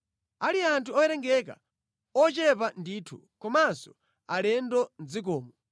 Ali anthu owerengeka, ochepa ndithu, komanso alendo mʼdzikomo,